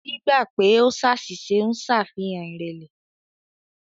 Gbígbà pè o ṣàṣìṣe ń ṣàfihàn ìrẹ̀lẹ̀.